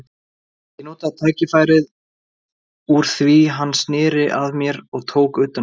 Ég notaði tækifærið úr því hann sneri að mér og tók utan um hann.